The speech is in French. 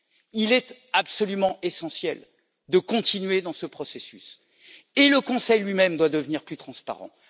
Il est absolument essentiel de continuer dans ce processus et le Conseil lui même doit devenir plus transparent.